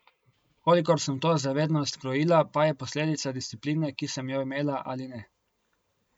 Kolikor sem to zavednost krojila, pa je posledica discipline, ki sem jo imela ali ne.